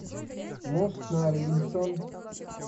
мост на арлингтон